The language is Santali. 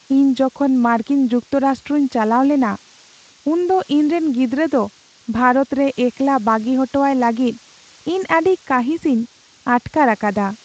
ᱤᱧ ᱡᱚᱠᱷᱚᱱ ᱢᱟᱨᱠᱤᱱ ᱡᱩᱠᱛᱚᱨᱟᱥᱴᱚᱧ ᱪᱟᱞᱟᱣ ᱞᱮᱱᱟ, ᱩᱱᱫᱚ ᱤᱧᱨᱮᱱ ᱜᱤᱫᱽᱨᱟᱹ ᱫᱚ ᱵᱷᱟᱨᱚᱛ ᱨᱮ ᱮᱠᱞᱟ ᱵᱟᱹᱜᱤ ᱦᱚᱴᱚᱣᱟᱭ ᱞᱟᱹᱜᱤᱫ ᱤᱧ ᱟᱹᱰᱤ ᱠᱟᱹᱦᱤᱥᱤᱧ ᱟᱴᱠᱟᱨ ᱟᱠᱟᱫᱟ ᱾